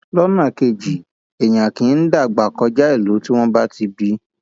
lọnà kejì èèyàn kì í dàgbà kọjá ìlú tí wọn bá ti bí i